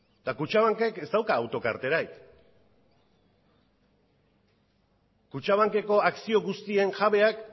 eta kutxabankek ez dauka autokarterarik kutxabankeko akzio guztien jabeak